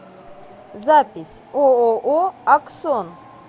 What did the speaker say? запись ооо аксон